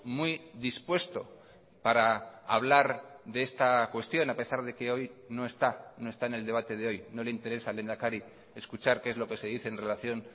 muy dispuesto para hablar de esta cuestión a pesar de que hoy no está no está en el debate de hoy no le interesa al lehendakari escuchar que es lo que se dice en relación